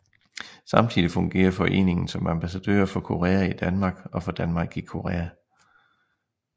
Samtidig fungerer foreningen som ambassadører for Korea i Danmark og for Danmark i Korea